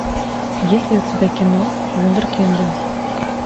есть ли у тебя кино вундеркинды